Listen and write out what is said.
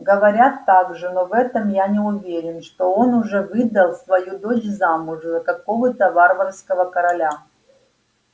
говорят также но в этом я не уверен что он уже выдал свою дочь замуж за какого-то варварского короля